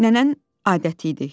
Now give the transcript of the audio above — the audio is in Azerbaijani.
Nənənin adəti idi.